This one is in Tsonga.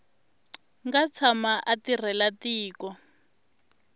nga tshama a tirhela tiko